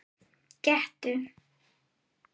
Gettu